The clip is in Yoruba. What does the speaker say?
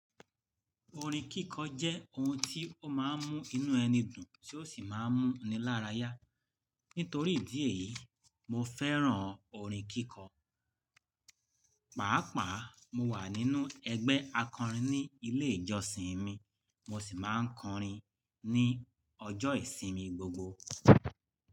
Orin kíkọ jẹ́ ohun tí ó máa ń mú inú ẹni dùn tí ó sì máa ń mú ni lára yá. Nítorí ìdí èyí, mo fẹ́ràn orin kíkọ. Pàápàá mo wà nínú ẹgbẹ́ akọrin ní ilé ìjọsìn mi, mo sì máa ń kọrin ní ọjọ́ ìsinmi gbogbo.